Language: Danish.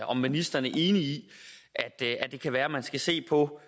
om ministeren er enig i det det kan være at man skal se på